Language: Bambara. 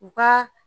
U ka